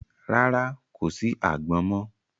Rárá, kò sí àgbọn mọ.